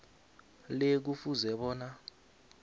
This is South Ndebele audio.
le kufuze bona